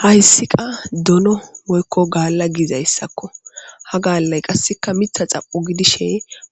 hayssi qa dono woykko gaalla gizayssakko ha gaallay qasseka mitha xapo gidishe